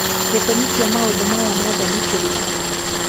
Gĩtũmi kĩa maũndũ maya mothe nĩ kĩrĩkũ?